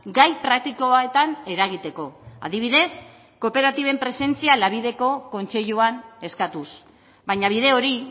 gai praktikoetan eragiteko adibidez kooperatiben presentzia kontseiluan eskatuz baina bide hori